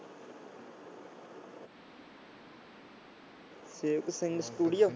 Sewak Singh studio